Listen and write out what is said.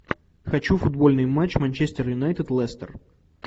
хочу футбольный матч манчестер юнайтед лестер